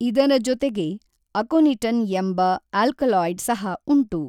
ಇದರ ಜೊತೆಗೆ ಅಕೊನಿಟನ್ ಎಂಬ ಅಲ್ಕಲಾಯ್ಡ್ ಸಹಉಂಟು.